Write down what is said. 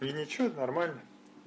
и ничего нормально